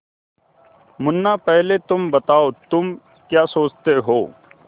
मुन्ना पहले तुम बताओ तुम क्या सोचते हो